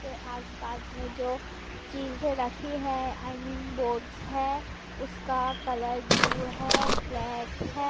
के आस पास में जो चीजे रखी है आई मीन बोर्ड्स है उसका कलर ब्लू है ब्लैक है।